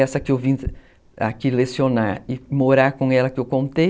Essa que eu vim aqui lecionar e morar com ela que eu contei,